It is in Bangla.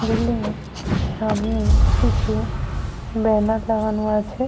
বিল্ডিং এর সামনে কিছু ব্যানার লাগানো আছে।